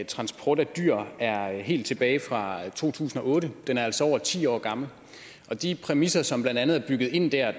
transport af dyr er helt tilbage fra to tusind og otte den er altså over ti år gammel og de præmisser som blandt andet er bygget ind der